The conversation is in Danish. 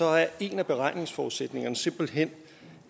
er en af beregningsforudsætningerne simpelt hen